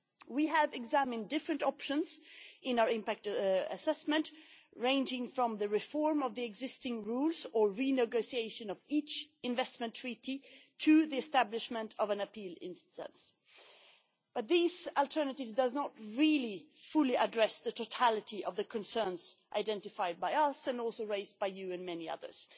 We have examined different options in our Impact Assessment, ranging from the reform of the existing rules or renegotiation of each investment treaty, to the establishment of an appeal body, but these alternatives do not really fully address the totality of the concerns identified by us, and also raised by this House and many others.